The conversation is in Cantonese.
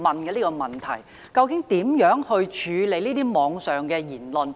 究竟教育局會如何處理網上言論？